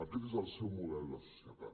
aquest és el seu model de societat